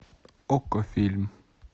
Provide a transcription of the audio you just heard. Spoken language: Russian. окко фильм